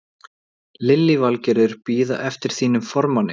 Lillý Valgerður: Bíða eftir þínum formanni?